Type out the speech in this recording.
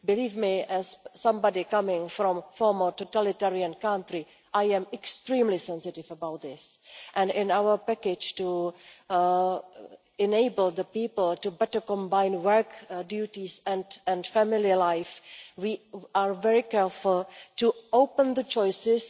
Believe me, as somebody coming from a former totalitarian country, I am extremely sensitive about this, and in our package to enable the people to better combine work duties and family life, we are very careful to open up the choices